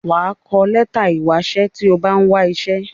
Wà á kọ lẹ́tà ìwásẹ́ tí o bá ń wásẹ́.